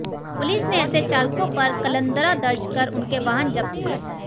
police ने ऐसे चालकों पर कलंदरा दर्ज कर उनके वाहन जब्त किए